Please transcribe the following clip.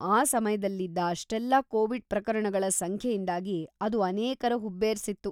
ಆ ಸಮಯ್ದಲ್ಲಿದ್ದ ಅಷ್ಟೆಲ್ಲಾ ಕೋವಿಡ್ ಪ್ರಕರಣಗಳ ಸಂಖ್ಯೆಯಿಂದಾಗಿ ಅದು ಅನೇಕರ ಹುಬ್ಬೇರ್ಸಿತ್ತು.